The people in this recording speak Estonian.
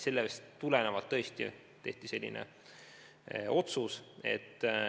Sellest tulenevalt tehti selline otsus.